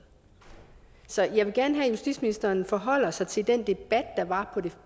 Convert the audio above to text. så jeg vil gerne have at justitsministeren forholder sig til den debat der var på det